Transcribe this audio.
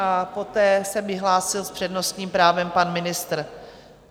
A poté se mi hlásil s přednostním právem pan ministr.